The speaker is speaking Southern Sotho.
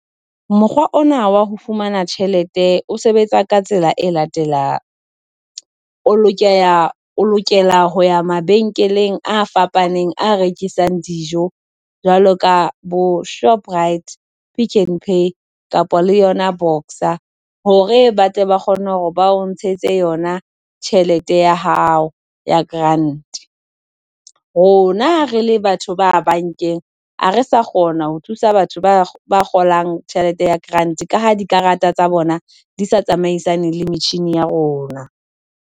Mokgwa ona wa ho fumana tjhelete o sebetsa ka tsela e latelang, o lokela o lokela ho ya mabenkeleng a fapaneng, a rekisang dijo jwalo ka boShoprite, Pick n Pay kapa le yona Boxer hore ba tle ba kgone hore ba o ntshetse yona tjhelete ya hao ya grant. Rona re le batho ba bankeng, ha re sa kgona ho thusa batho ba kgolang tjhelete ya grant ka ha di karata tsa bona di sa tsamaisaneng le metjhine ya rona.